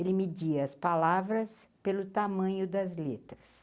Ele media as palavras pelo tamanho das letras.